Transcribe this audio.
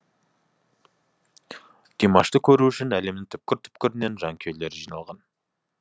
димашты көру үшін әлемнің түкпір түкпірінен жанкүйерлері жиналған